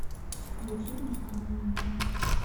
включи босоногий мальчик